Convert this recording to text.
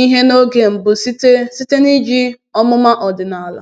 ihe n’oge mbụ site site n’iji ọmụma ọdịnala.”